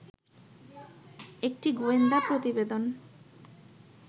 একটি গোয়েন্দা প্রতিবেদন